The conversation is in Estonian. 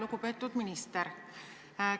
Lugupeetud minister!